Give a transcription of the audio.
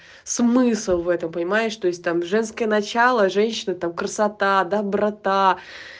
смысл в этом понимаешь то есть там женское начало женщина там красота доброта